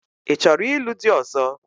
Ị chọrọ ịlụ di ọ̀zọ́?